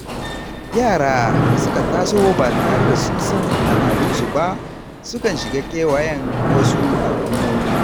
Yara da suka taso ba tare da sun san al’adunsu ba sukan shiga kewayen wasu al’ummomi.